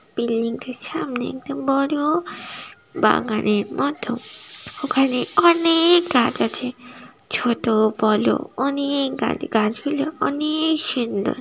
Building টির সামনে একটি বড়-ও বাগানের মত। ওখানে অনে-এ-এক গাছ আছে। ছোট বলো অনেক গাছ। গাছ গুলো অনে-এক সুন্দর।